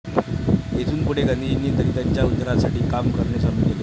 येथून पुढे गांधीजींनी दलितांच्या उद्धारासाठी काम करणे चालु केले.